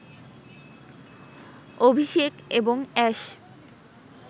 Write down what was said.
অভিষেক এবং অ্যাশ